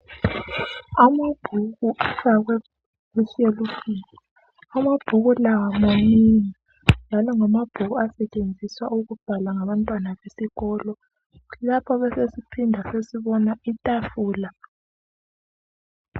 Amabhuku afakwe eshelufini. Amabhuku lawa manengi njalo ngamabhuku asetshenziswa ukubhala ngabantwana besikolo. Lapha besesiphinda sesibona itafula.